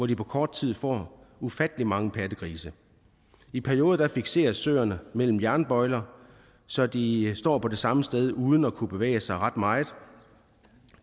de på kort tid får ufattelig mange pattegrise i perioder fikseres søerne mellem jernbøjler så de står på det samme sted uden at kunne bevæge sig ret meget